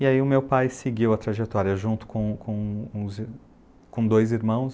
E aí o meu pai seguiu a trajetória junto com com com os ir com dois irmãos.